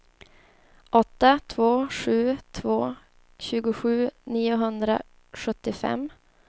åtta två sju två tjugosju niohundrasjuttiofem